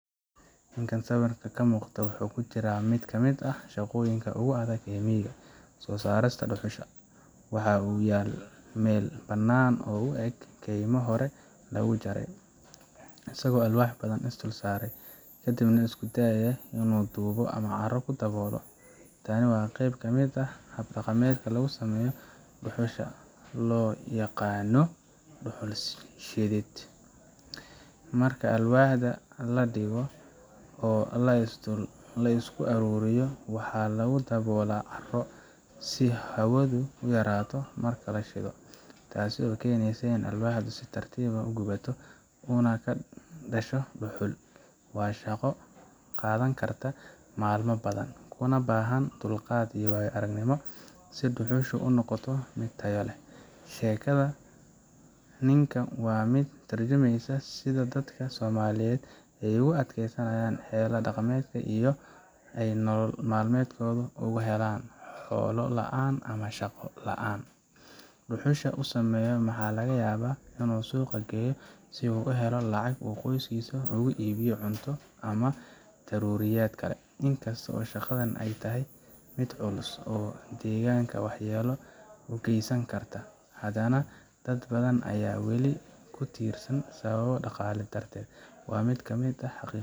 Ninkaan sawirka ka muuqda waxa uu ku jiraa mid ka mid ah shaqooyinka ugu adag ee miyiga soo saarista dhuxusha. Waxa uu yaal meel bannaan oo u eg keymo hore lagu jaray, isagoo alwaax badan is dul saaray, kadibna isku dayaya inuu dhoobo ama carro ku daboolo. Tani waa qayb ka mid ah hab dhaqameed lagu sameeyo dhuxusha, oo loo yaqaanno dhuxul-shidid. Marka alwaaxda la dhigo oo la isku ururiyo, waxaa lagu daboolaa carro si hawadu u yarato marka la shido, taasoo keenaysa in alwaaxdu si tartiib ah u gubato, uuna ka dhasho dhuxul. Waa shaqo qaadan karta maalmo badan, kuna baahan dulqaad iyo waayo-aragnimo si dhuxusha u noqoto mid tayo leh. Sheekada ninkan waa mid ka tarjumaysa sida dadka Soomaaliyeed ay u adeegsanayaan xeelado dhaqameed si ay nolol maalmeedkooda uga helaan xoolo la’aan ama shaqo la’aan. Dhuxusha uu sameynayo waxaa laga yaabaa in uu suuqa geeyo si uu u helo lacag uu qoyskiisa ugu iibiyo cunto ama daruuriyaad kale. In kasta oo shaqadani ay tahay mid culus oo deegaanka waxyeello u geysan karta, hadana dad badan ayaa weli ku tiirsan sababo dhaqaale darteed. Waa mid ka mid ah.